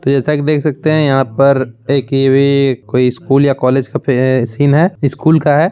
तो जैसा की देख सकते हैं यहाँ पर एक यूंही कोई स्कूल या कॉलेज का सीन है स्कूल का है।